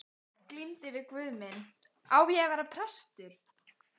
Glímdi við guð minn: Á ég að verða prestur?